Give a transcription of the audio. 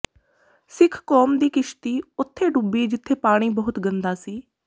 ਸਿੱਖ ਕੌਮ ਦੀ ਕਿਸ਼ਤੀ ਓੁਥੇ ਡੁੱਬੀ ਜਿਥੇ ਪਾਣੀ ਬਹੁਤ ਗੰਦਾ ਸੀ